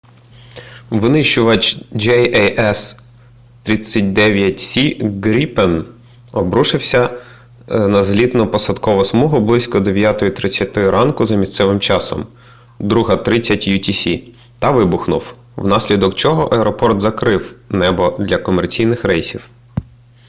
винищувач jas 39c gripen обрушився на злітно-посадкову смугу близько 9:30 ранку за місцевим часом 02:30 utc та вибухнув внаслідок чого аеропорт закрив небо для комерційних рейсів